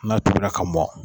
N'a tobira ka mɔ